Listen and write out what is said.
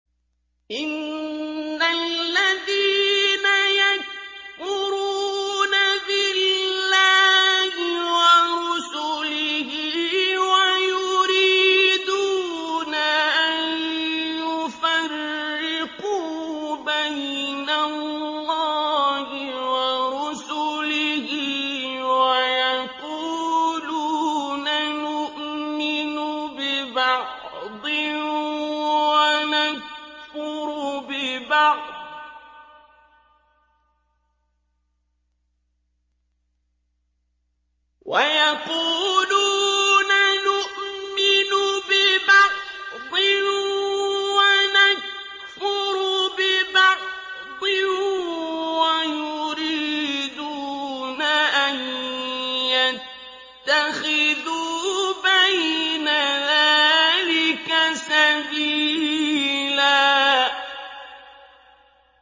إِنَّ الَّذِينَ يَكْفُرُونَ بِاللَّهِ وَرُسُلِهِ وَيُرِيدُونَ أَن يُفَرِّقُوا بَيْنَ اللَّهِ وَرُسُلِهِ وَيَقُولُونَ نُؤْمِنُ بِبَعْضٍ وَنَكْفُرُ بِبَعْضٍ وَيُرِيدُونَ أَن يَتَّخِذُوا بَيْنَ ذَٰلِكَ سَبِيلًا